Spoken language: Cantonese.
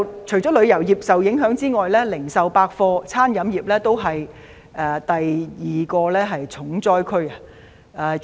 除了旅遊業受影響之外，零售、百貨、飲食業是第二個"重災區"。